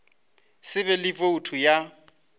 se be le boutu ya